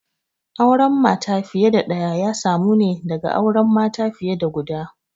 Auren mata fiye da ɗaya ya samu ne daga auren mata fiye da guda